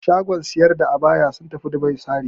Shagon siyar da abaya sun tafi Dubai sari.